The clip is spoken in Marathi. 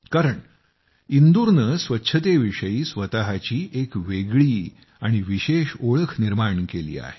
कारण इंदूरनं स्वच्छतेविषयी स्वतःची एक वेगळी आणि विशेष ओळख निर्माण केली आहे